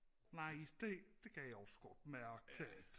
Nej det det kan jeg også godt mærke at